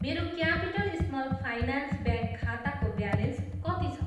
मेरो capital small finance bank खाताको balance कति छ?